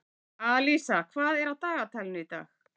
Alísa, hvað er á dagatalinu í dag?